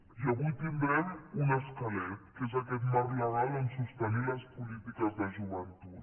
i avui tindrem un esquelet que és aquest marc legal on sostenir les polítiques de joventut